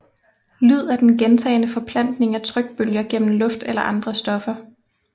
Lyd er den gentagne forplantning af trykbølger gennem luft eller andre stoffer